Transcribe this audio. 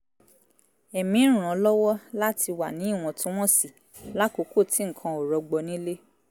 ẹ̀mí ń ràn án lọ́wọ́ láti wà ní ìwọ̀ntúnwọ̀nsì lákòókò tí nǹkan ò rọgbọ nílé